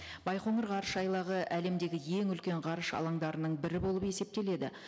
байқоңыр ғарышайлағы әлемдегі ең үлкен ғарыш алаңдарының бірі болып есептеледі